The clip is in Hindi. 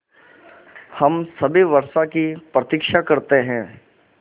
हम सभी वर्षा की प्रतीक्षा करते हैं